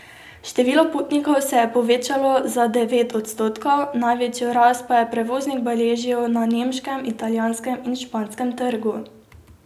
Število potnikov se je povečalo za devet odstotkov, največjo rast pa je prevoznik beležil na nemškem, italijanskem in španskem trgu.